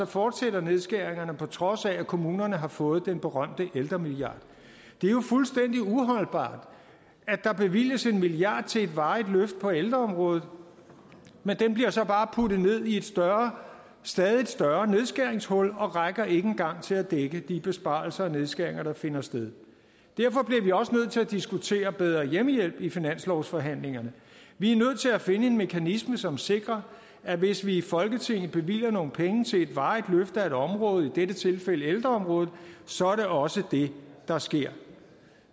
fortsætter nedskæringerne på trods af at kommunerne har fået den berømte ældremilliard det er jo fuldstændig uholdbart at der bevilges en milliard til et varigt løft på ældreområdet men den bliver så bare puttet ned i et stadig større nedskæringshul og rækker ikke en gang til at dække de besparelser og nedskæringer der finder sted derfor bliver vi også nødt til at diskutere bedre hjemmehjælp i finanslovsforhandlingerne vi er nødt til at finde en mekanisme som sikrer at hvis vi i folketinget bevilger nogle penge til et varigt løft af et område i dette tilfælde ældreområdet så er det også det der sker